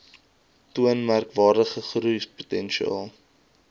toon merkwaardige groeipotensiaal